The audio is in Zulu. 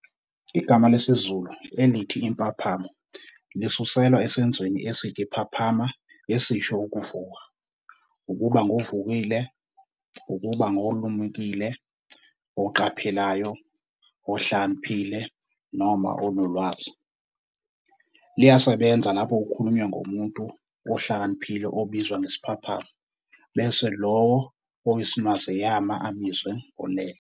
Igama lesizulu elithi "impaphamo" lisuselwa esenzweni esithi "phaphama" esisho 'ukuvuka, ukuba ngovukile, ukuba olumukile, oqaphelayo, ohlakaniphile noma onolwazi." Liyasebenza lapho kukhulunywa ngomuntu uhlakaniphile obizwa ngesiphaphami, bese lowo oyisnwazeyama abizwe ngolele.